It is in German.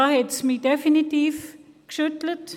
Da hat es mich definitiv geschüttelt.